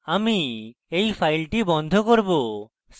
আমি এই file বন্ধ করব